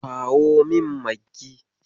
Kawo min Maggi.